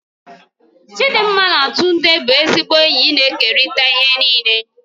Chidinma na Tunde bụ ezigbo enyi na-ekerịta ihe niile.